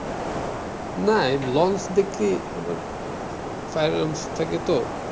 Launch দেখি silence থাকে তো।